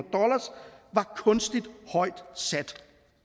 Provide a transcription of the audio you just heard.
kunstigt højt sat